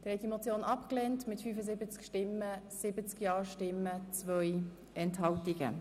Der Grosse Rat hat die Motion abgelehnt.